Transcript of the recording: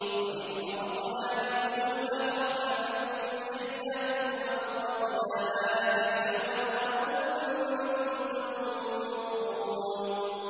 وَإِذْ فَرَقْنَا بِكُمُ الْبَحْرَ فَأَنجَيْنَاكُمْ وَأَغْرَقْنَا آلَ فِرْعَوْنَ وَأَنتُمْ تَنظُرُونَ